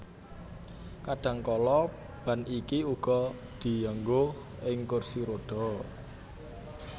Kadhangkala ban iki uga dianggo ing kursi rodha